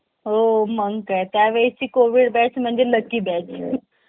खूप आवडायचे. त्यानंतर मी मोठा झाल्यावर विचार करू लागलो की आपल बालपण किती सुंदर असायच. योग्य पद्धतीने पाहिल तर बालपण हा तोच